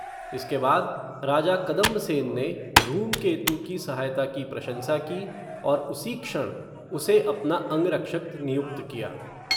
इसके बाद, राजा कदंबसेन ने, धूमकेतु की सहायता की प्रशंसा की, और उसी क्षण, उसे अपना अंग रक्षक नियुक्त किया